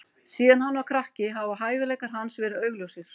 Síðan hann var krakki hafa hæfileikar hans verið augljósir.